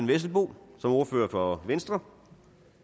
vesselbo som ordfører for venstre